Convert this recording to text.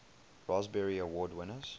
raspberry award winners